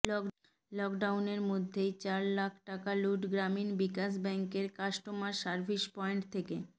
লকডাউনের মধ্যেই চার লাখ টাকা লুঠ গ্রামীণ বিকাশ ব্যাঙ্কের কাস্টমার সার্ভিস পয়েন্ট থেকে